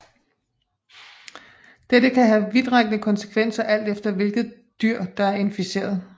Dette kan have vidtrækkende konsekvenser alt efter hvilket dyr der er inficeret